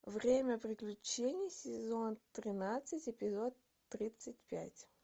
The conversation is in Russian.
время приключений сезон тринадцать эпизод тридцать пять